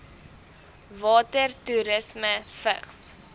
water toerisme vigs